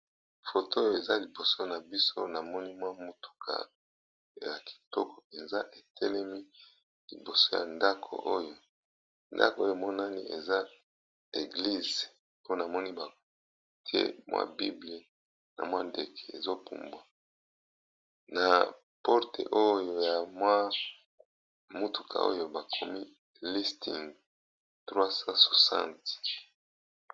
Pkoto oyo eza liboso na biso na moni mwa motuka ya kitoko eza etelemi liboso ya ndako oyo ndako oyo monani eza eglise mpona moni ba tie mwa bibly na mwa ndeke ezopumbwa na porte oyo ya mwa motuka oyo bakomi listing 360.